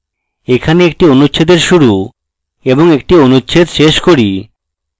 এখানে একটি অনুচ্ছেদের শুরু এবং একটি অনুচ্ছেদ শেষ করি